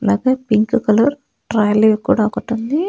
అలాగే pink colour trolley కూడా ఒకటుంది.